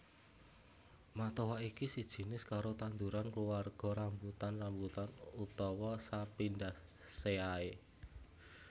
Matoa iki sakjinis karo tanduran kluarga rambutan rambutanan utawa Sapindaceae